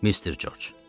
Mr. Corc.